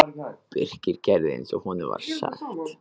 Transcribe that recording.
Birkir gerði eins og honum var sagt.